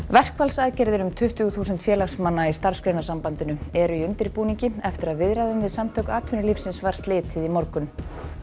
verkfallsaðgerðir um tuttugu þúsund félagsmanna í Starfsgreinasambandinu eru í undirbúningi eftir að viðræðum við Samtök atvinnulífsins var slitið í morgun